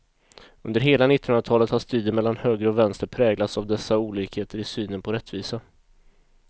Under hela nittonhundratalet har striden mellan höger och vänster präglats av dessa olikheter i synen på rättvisa.